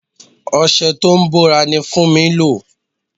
Ọṣẹ tó ń bòra ni Funmi ń lò.